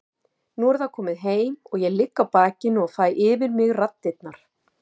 Nú er það komið heim og ég ligg á bakinu og fæ yfir mig raddirnar.